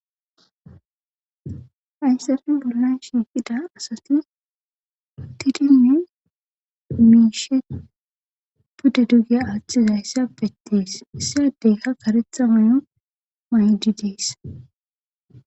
Hayssape bollan shiiqida asati udoynne miishi pude dige aathidaussa beettees issi addeyka kartha mayo mayidi dees.